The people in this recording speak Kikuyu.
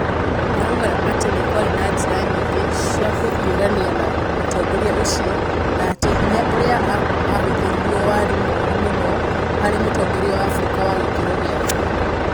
Araiga atĩ nĩ kwarĩ na njĩra nyingĩ cia kũhiũrania na mũtongoria ũcio na atĩ hinya ũrĩa aahũthĩrirũo warĩ mũru mũno harĩ mũtongoria wa Afrika wa gĩkĩro gĩake.